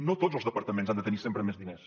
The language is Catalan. no tots els departaments han de tenir sempre més diners